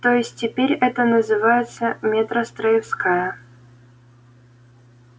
то есть теперь это называется метростроевская